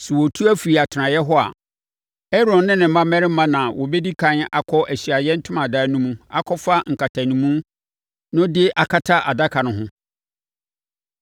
Sɛ wɔretu afiri atenaeɛ hɔ a, Aaron ne ne mma mmarima na wɔbɛdi ɛkan akɔ Ahyiaeɛ Ntomadan no mu akɔfa nkatanimu no de akata adaka no ho.